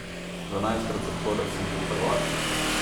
Dvanajstkrat zapored sem bil prvak!